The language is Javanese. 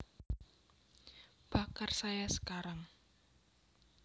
Bakar saya sekarang